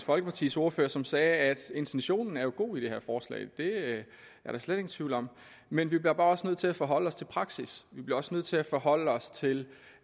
folkepartis ordfører som sagde at intentionen jo er god i det her forslag det er der slet ingen tvivl om men vi bliver bare også nødt til at forholde os til praksis vi bliver også nødt til at forholde os til